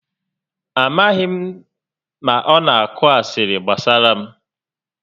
A maghị m ma ọ na akụ asịrị gbasara m